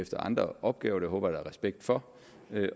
efter andre opgaver og det håber der er respekt for